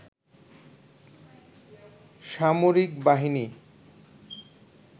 সামরিক বাহিনী